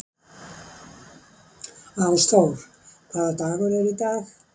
Ásþór, hvaða dagur er í dag?